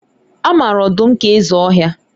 A mara ọdụm ka eze ọhịa